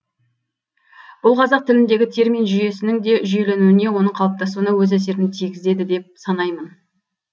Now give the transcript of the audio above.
бұл қазақ тіліндегі термин жүйесінің де жүйеленуіне оның қалыптасуына өз әсерін тигізеді деп санаймын